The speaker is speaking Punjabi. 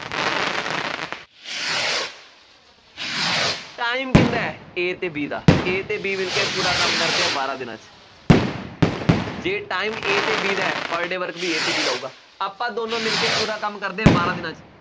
time ਕਿਹਦਾ, A ਅਤੇ B ਦਾ, A ਅਤੇ B ਮਿਲਕੇ ਪੂਰਾ ਕੰਮ ਕਰਦੇ ਆ ਬਾਰਾਂ ਦਿਨਾਂ ਚ, ਜੇ time A ਅਤੇ B ਦਾ ਹੈ, per day work ਵੀ A ਅਤੇ B ਦਾ ਹੋਊਗਾ, ਆਪਾਂ ਦੋਨੋ ਮਿਲਕੇ ਪੂਰਾ ਕੰਮ ਕਰਦੇ ਹਾਂ, ਬਾਰਾਂ ਦਿਨਾਂ ਚ,